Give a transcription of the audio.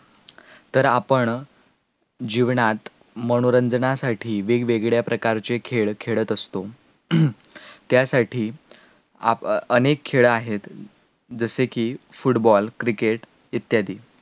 तर आपण जीवनात मनोरंजनासाठी वेगवेगळ्या प्रकारचे खेळ खेळत असतो, त्यासाठी आपण अनेक खेळं आहेत जसेकी football cricket इत्यादी